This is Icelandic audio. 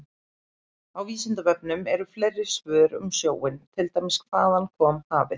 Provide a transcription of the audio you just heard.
Á Vísindavefnum eru fleiri svör um sjóinn, til dæmis: Hvaðan kom hafið?